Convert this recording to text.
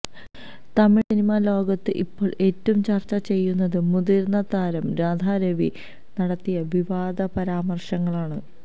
Tamil cinema ലോകത്ത് ഇപ്പോള് ഏറ്റവും ചര്ച്ച ചെയ്യുന്നത് മുതിര്ന്ന താരം രാധാ രവി നടത്തിയ വിവാദപരാമര്ശങ്ങളാണ്